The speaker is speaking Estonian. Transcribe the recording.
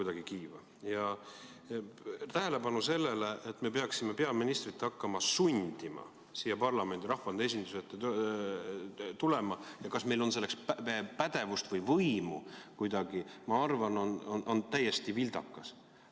Tähelepanu sellele, et me peaksime peaministrit hakkama sundima siia parlamendi, rahvaesinduse ette tulema ja kas meil on selleks kuidagi pädevust või võimu, ma arvan, on täiesti vildakas.